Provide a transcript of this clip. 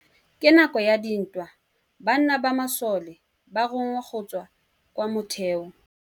Ka nakô ya dintwa banna ba masole ba rongwa go tswa kwa mothêô.